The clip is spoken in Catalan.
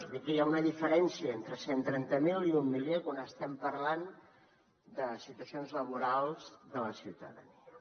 dir que hi ha una diferència entre cent trenta mil i un milió quan estem parlant de situacions laborals de la ciutadania